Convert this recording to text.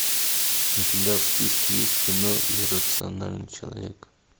у тебя в списке есть кино иррациональный человек